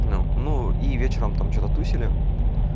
ну ну и вечером там что-то тусили